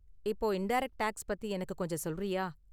இப்ப indirect tax பத்தி எனக்கு கொஞ்சம் சொல்றியா?